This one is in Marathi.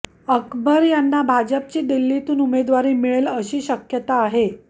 अकबर यांना भाजपची दिल्लीतून उमेदवारी मिळेल अशी शक्यता आहे